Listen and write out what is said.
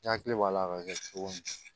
N hakili b'a la ka kɛ cogo min na